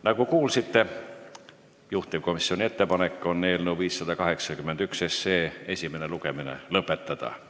Nagu kuulsite, juhtivkomisjoni ettepanek on eelnõu 581 esimene lugemine lõpetada.